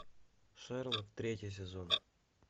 шерлок третий сезон